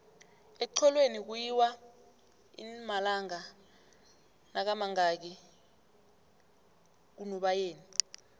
exholweni kuyiwa inmalanga nakamangaki kunubayeni